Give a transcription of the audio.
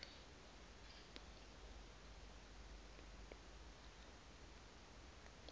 ya pharou ḽu wa ḓo